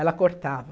Ela cortava.